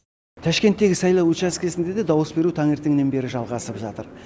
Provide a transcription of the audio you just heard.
ташкенттегі сайлау учаскесінде де дауыс беру таңертеңнен бері жалғасып жатыр